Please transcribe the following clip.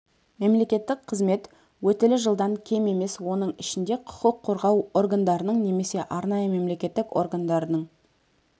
мемлекеттік қызмет өтілі жылдан кем емес оның ішінде құқық қорғау органдарының немесе арнайы мемлекеттік органдарының